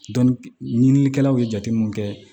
ɲinilikɛlaw ye jateminɛw kɛ